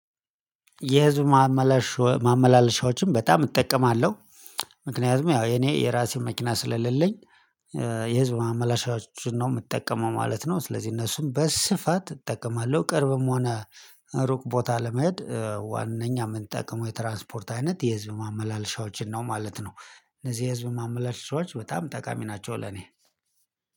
የህዝብ ማመላለሻዎችን በጣም እጠቀማለሁ። ምክንያቱም ያው እኔ የራሴን መኪና ስለሌለኝ የህዝብ ማመላሻዎችን ነው የምጠቀመው ማለት ነው። ስለዚህ እነሱም በስፋት እጠቀማለሁ፤ ቅርብም ሆነ ሩቅ ቦታ ለመሄድ ዋናኛ የምንጠቅመው የትራንስፖርት አይነት የህዝብ ማመላለሻዎችን ነው ማለት ነው። እነዚህ የህዝብ ማመላለሻዎች በጣም ጠቃሚ ናቸው ለኔ።